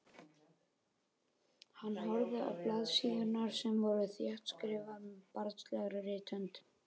Hann horfði á blaðsíðurnar sem voru þéttskrifaðar með barnslegri rithönd.